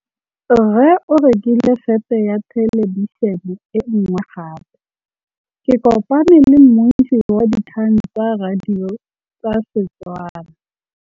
Rre o rekile sete ya thêlêbišênê e nngwe gape. Ke kopane mmuisi w dikgang tsa radio tsa Setswana.